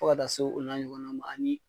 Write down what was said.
Fo ka taa s'o o n'a ɲɔgɔnna ma ani